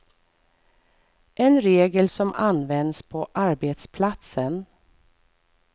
En regel som används på arbetsplatsen.